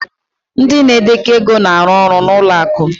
ndị na-edekọ ego na-arụ ọrụ na ụlọ akụ